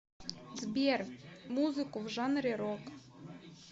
сбер музыку в жанре рок